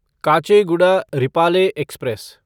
Kacheguda Repalle express